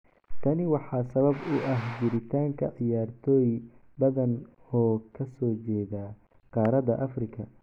Tani waxaa sabab u ah jiritaanka ciyaartoy badan oo ka soo jeeda qaaradda Afrika.